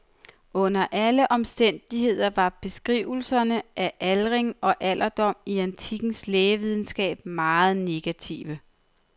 Under alle omstændigheder var beskrivelserne af aldring og alderdom i antikkens lægevidenskab meget negative.